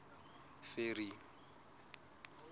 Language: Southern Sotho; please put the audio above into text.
ferry